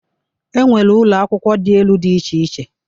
E nwere ụlọakwụkwọ dị enụ dị iche iche.